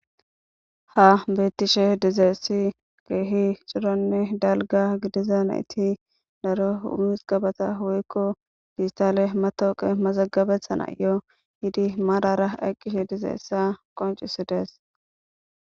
Ha betishe dizays coranne dalga nayt daro woyko dijitale matawoqiya mazigabetanayo yiid marara eqishe diyaba qoncisides